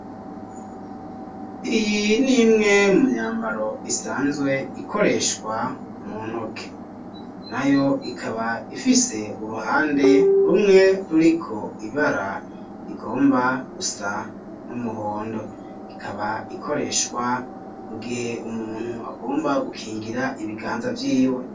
Iyi n'imwe mu myambaro isanzwe ikoreshwa mu ntoke, nayo ikaba ifise uruhande rumwe ruriko ibara rigomba gusa n'umuhondo, ikaba ikoreshwa mu gihe umuntu agomba gukingira ibiganza vyiwe.